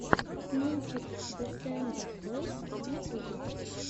мультик десембер бойс в ютубе